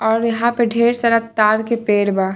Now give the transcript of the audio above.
और यहाँ पे ढेर सारा तार के पेर बा।